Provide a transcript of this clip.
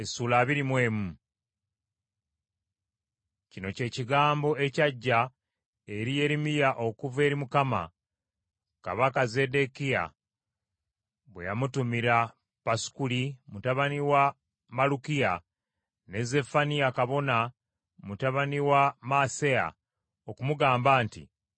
Kino kye kigambo ekyajja eri Yeremiya okuva eri Mukama , kabaka Zeddekiya bwe yamutumira Pasukuli mutabani wa Malukiya ne Zeffaniya kabona mutabani wa Maaseya okumugamba nti,